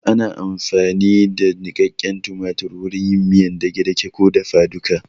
Ana amfani da niƙaƙen tumatir wurin yin miyar dage-dage ko dafa duka